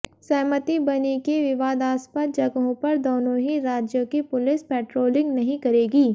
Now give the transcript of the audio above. सहमति बनी कि विवादास्पद जगहों पर दोनों ही राज्यों की पुलिस पेट्रोलिंग नहीं करेगी